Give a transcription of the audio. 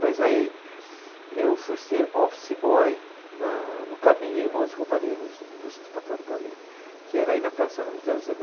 Mas aí, eu fui ser office boy na, no Klabin Irmãos e Companhia, nas indústrias de papel do Klabin, que era aí na Praça Ramos de Azeve